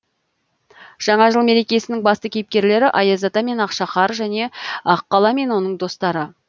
жаңа жыл мерекесінің басты кейіпкерлері аяз ата мен ақшақар және аққала мен оның достары